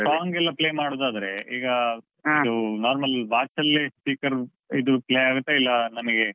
Song ಎಲ್ಲ play ಮಾಡುದಾದ್ರೆ ಈಗ, normal watch ಅಲ್ಲೇ speaker ಇದು play ಆಗತ್ತಾ ಇಲ್ಲಾ ನಮಗೆ,